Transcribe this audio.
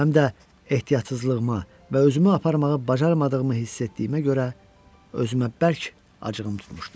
Həm də ehtiyatsızlığıma və özümü aparmağı bacarmadığımı hiss etdiyimə görə özümə bərk acığım tutmuşdu.